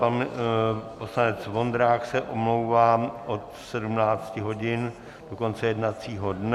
Pan poslanec Vondrák se omlouvá od 17 hodin do konce jednacího dne.